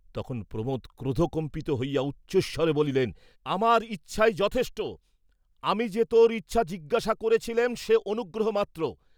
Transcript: তখন প্রমোদ ক্রোধকম্পিত হইয়া উচ্চৈঃস্বরে বলিলেন, আমার ইচ্ছাই যথেষ্ট, আমি যে তোর ইচ্ছা জিজ্ঞাসা করেছিলেম সে অনুগ্রহ মাত্র।